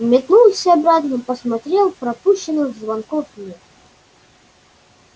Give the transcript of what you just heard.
метнулся обратно посмотрел пропущенных звонков нет